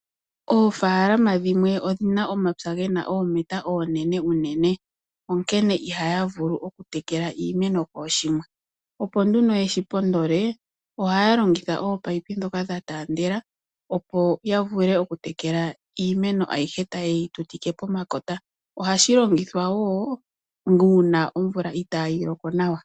Oofaalama dhimwe odhina omapya ge na oometa oonene unene, onkene ihaya vulu okutekela iimeno kooshimwe. Opo nduno yeshi pondole oha ya longitha nduno ominino ndhoka dha taandela, opo ya vule okutekela iimeno ayihe ta ye yi tutike pomakota, ohashi longithwa wo uuna omvula itaayi loko nawa.